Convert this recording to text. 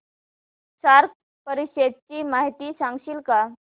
SAARC परिषदेची माहिती सांगशील का